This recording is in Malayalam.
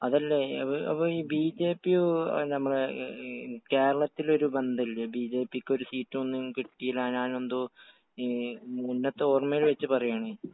അതല്ലേ... അപ്പൊ ഈ ബിജെപിയോ...കേരളത്തിൽ ഒരു ബന്ധമില്ലേ? ബിജെപിക്ക് ഒരു സീറ്റുമൊന്നും കിട്ടീലാന്നെന്തോ...ഈ...മുന്നത്ത ഓർമയിൽ വച്ചു പറയുവാണേ